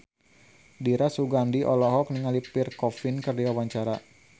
Dira Sugandi olohok ningali Pierre Coffin keur diwawancara